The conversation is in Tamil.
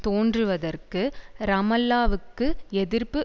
தோன்றுவதற்கு ரமல்லாவுக்கு எதிர்ப்பு